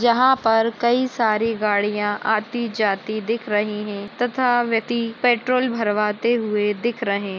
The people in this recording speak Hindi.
यहा पर कई सारी गाड़िया आती जाती दिख रही है तथा व्यति पेट्रोल भरवाते हुए दिख रहे--